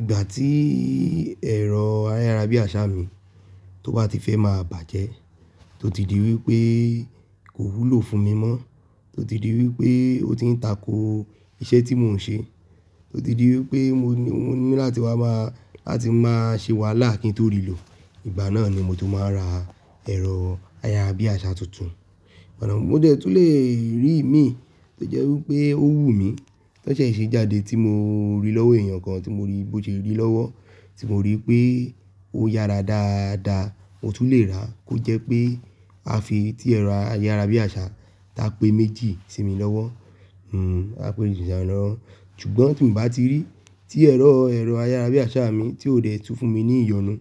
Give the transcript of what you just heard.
Ìgbà tí ẹ̀rọ ayárabíàṣá mi tó bá ti fẹ́ máa bàjẹ́, tó ti di wípé kò wúlò fún mi mọ́, tó ti di wípé ó ti ń tako iṣẹ́ tí mò ń ṣe, tó ti di wípé mo ní láti wá máa, láti máa ṣe wàhálà kí n tó rí lò, ìgbà náà ni mo tó máa ra ẹ̀rọ ayárabíàṣá tuntun. Ọ̀nà mó jẹ̀ tú lè rí mí tó jẹ́ wípé ó wù mí, tó ṣe ìṣe jáde tí mo rí lọ́wọ́ èèyàn kan tí mo rí bó ṣe rí lọ́wọ́, tí mo rí pé ó yára dáadáa, mo tún lè ra kó jẹ́ pé a fi ti ẹ̀rọ ayárabíàṣá ta pé méjì sí mi lọ́wọ́, hmm a pé meji si mi lọwọ Ṣùgbọ́n tí n bá ti rí tí ẹ̀rọ, ẹ̀rọ ayárabíàṣá mi tí ò dẹ̀ tú fún mi ní ìyọnu,